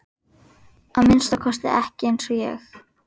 Að minnsta kosti ekki eins og ég.